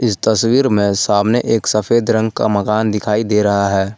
इस तस्वीर में सामने एक सफेद रंग का मकान दिखाई दे रहा है।